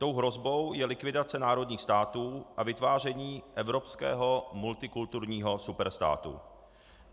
Tou hrozbou je likvidace národních států a vytváření evropského multikulturního superstátu.